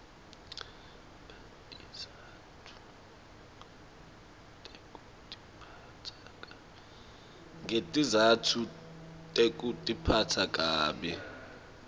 ngetizatfu tekutiphatsa kabi